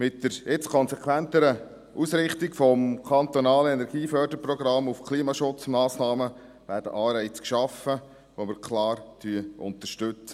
Mit der jetzt konsequenteren Ausrichtung des kantonalen Energieförderprogramms auf Klimaschutzmassnahmen werden Anreize geschaffen, die wir klar unterstützen.